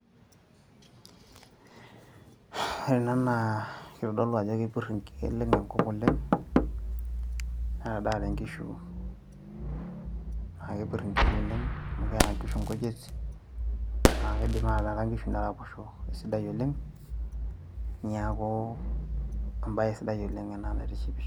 Ore ena naa kitodolu ajo keleng' enkop naleng' netadaate nkishu naa kepirr nkishu oleng' amu keeta nkishu nkujit naa kiidip ata nkishu naaraposho sidai oleng' neeku embay sidai oleng' ena naitishipisho.